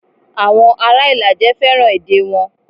Awon ara Ilaje feran ede won.